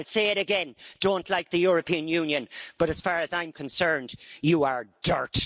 I'll say it again I don't like the European Union but, as far as I'm concerned, you are dirt.